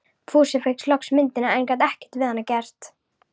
Fúsi fékk loks myndina, en gat ekkert fyrir hana gert.